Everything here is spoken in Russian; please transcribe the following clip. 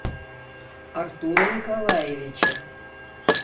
артура николаевича